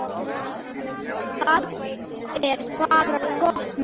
Það er bara gott mál.